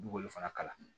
U b'olu fana kala